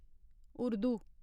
Urdu